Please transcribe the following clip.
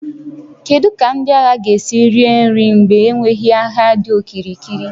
Kedu ka ndị agha ga-esi rie nri mgbe enweghị ahịa dị okirikiri?